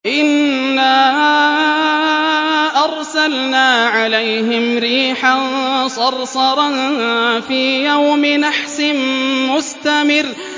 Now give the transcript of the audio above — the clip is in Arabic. إِنَّا أَرْسَلْنَا عَلَيْهِمْ رِيحًا صَرْصَرًا فِي يَوْمِ نَحْسٍ مُّسْتَمِرٍّ